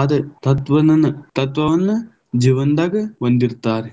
ಆದ ತತ್ವನನ್ನ, ತತ್ವವನ್ನ ಜೀವನ್ದಾಗ ಒಂದಿರ್ತಾರ.